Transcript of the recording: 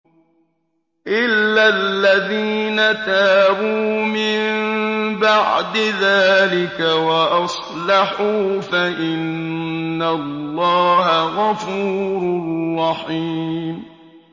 إِلَّا الَّذِينَ تَابُوا مِن بَعْدِ ذَٰلِكَ وَأَصْلَحُوا فَإِنَّ اللَّهَ غَفُورٌ رَّحِيمٌ